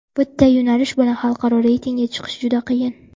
Bitta yo‘nalish bilan xalqaro reytingga chiqish juda qiyin.